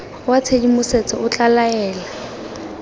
wa tshedimosetso o tla laela